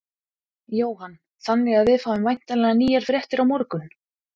Jóhann: Þannig að við fáum væntanlega nýjar fréttir á morgun?